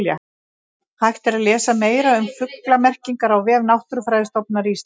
Hægt er að lesa meira um fuglamerkingar á vef Náttúrufræðistofnunar Íslands.